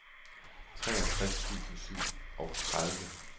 treogtres tusind og syvogtredive